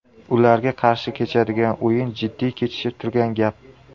Ularga qarshi kechadigan o‘yin jiddiy kechishi turgan gap.